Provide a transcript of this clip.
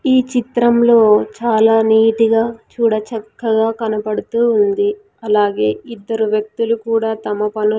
ఈ చిత్రంలో చాలా నీటి గా చూడచక్కగా కనపడుతూ ఉంది అలాగే ఇద్దరు వ్యక్తులు కూడా తమ పలు--